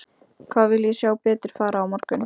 Hvað vil ég sjá betur fara á morgun?